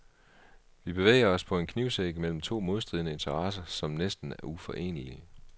Vi bevæger os på en knivsæg mellem to modstridende interesser, som næsten er uforenelige.